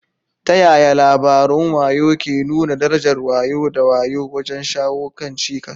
Ta yaya labarun wayo ke nuna darajar wayo da wayo wajen shawo kan cikas?